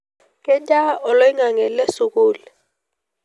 kejaa oloingange le sukuul